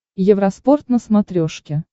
евроспорт на смотрешке